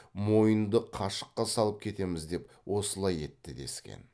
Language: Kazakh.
мойынды қашыққа салып кетеміз деп осылай етті дескен